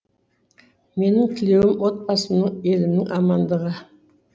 менің тілеуім отбасымның елімнің амандығы